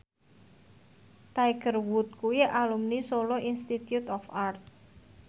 Tiger Wood kuwi alumni Solo Institute of Art